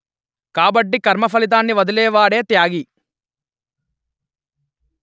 కాబట్టి కర్మ ఫలితాన్ని వదిలేవాడే త్యాగి